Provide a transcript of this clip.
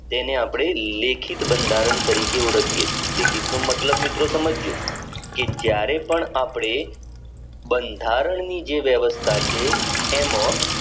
તેને અપને લેખિત બંધારણ તરીકે ઓળખીયે છે લેખિત નો મતલબ મિત્રો સમજજો કે જયારે પણ આપણે બંધારણની જે વ્યવસ્થા છે એમજ